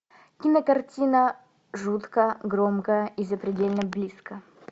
кинокартина жутко громко и запредельно близко